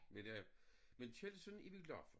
Men øh men Kjeldsen er vi glade for